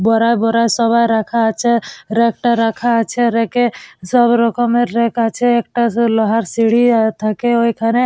বোরা বোরা সবা রাখা আছে রেক -টা রাখা আছে রেক -এ সব রকমের রেক আছে একটা সে লোহার সিঁড়ি থাকে ওইখানে।